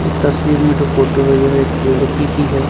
इस तस्वीर में जो फोटो है यह एक लड़की की है।